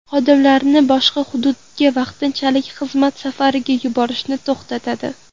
Xodimlarini boshqa hududga vaqtinchalik xizmat safariga yuborishni to‘xtatadi.